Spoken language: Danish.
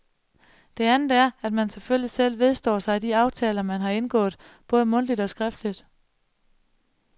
Det andet er, at man selvfølgelig selv vedstår sig de aftaler, man har indgået, både mundtligt og skriftligt.